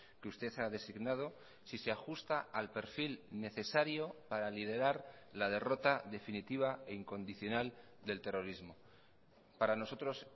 que usted ha designado si se ajusta al perfil necesario para liderar la derrota definitiva e incondicional del terrorismo para nosotros